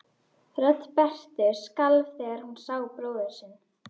Rödd Berthu skalf þegar hún sá bróður sinn.